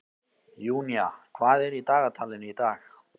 Júnía, hvað er í dagatalinu í dag?